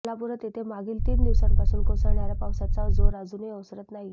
कोल्हापुरात येथे मागील तीन दिवसांपासून कोसळणाऱ्या पावसाचा जोर अजूनही ओसरत नाहीये